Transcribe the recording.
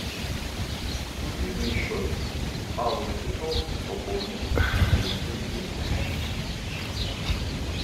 мобильный счет аллы петровны пополен на двести рублей